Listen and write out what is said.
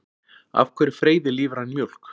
Af hverju freyðir lífræn mjólk?